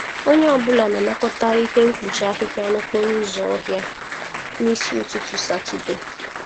Onye ọ bụla na-anakọta ihe mkpuchi ahịhịa n'okporo ụzọ ọhịa n'isi ụtụtụ Satọde.